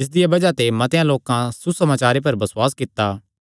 जिसदिया बज़ाह ते मतेआं लोकां सुसमाचारे पर बसुआस कित्ता